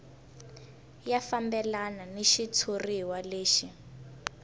ya fambelana ni xitshuriwa lexi